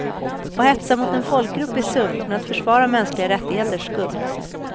Att hetsa mot en folkgrupp är sunt, men att försvara mänskliga rättigheter skumt.